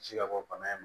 Ji ka bɔ bana in ma